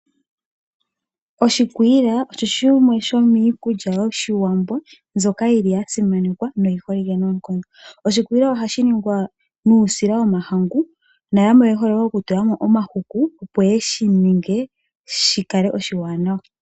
Oshikwila osho shimwe shomiikulya yoshiwambo mbyoka yiki yasimanekwa noyiholike noonkondo. Oshikwila ohashi ningwa nuusila womahangu noyamwe oye hole oku tulamo omahuku opo shikale oshiwanawa.